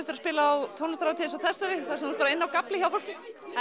að spila á tónlistarhátíð eins og þessari þar sem þú ert bara inni á gafli hjá fólki